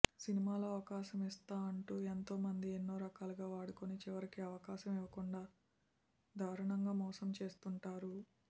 సినిమాలో అవకాశం ఇస్తా అంటూ ఎంతోమంది ఎన్నోరకాలుగా వాడుకొని చివరికి అవకాశం ఇవ్వకుండా దారుణంగా మోసం చేస్తుంటారు